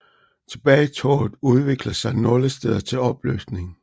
Tilbagetoget udviklede sig nogle steder til opløsning